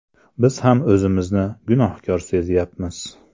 Biz ham o‘zimizni gunohkor sezyapmiz.